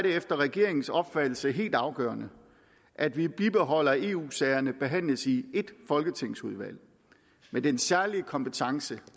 efter regeringens opfattelse helt afgørende at vi bibeholder at eu sagerne behandles i ét folketingsudvalg med den særlige kompetence